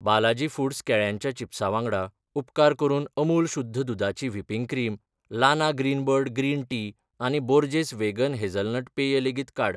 Balaji foods केळ्यांच्या चिप्सा वांगडा, उपकार करून अमूल शुध्द दुदाची व्हिपिंग क्रीम, लाना ग्रीनबर्ड ग्रीन टी आनी बोर्जेस वेगन हेझलनट पेय लेगीत काड.